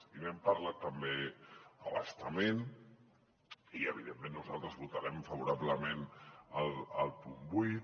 i n’hem parlat també a bastament i evidentment nosaltres votarem favorablement el punt vuit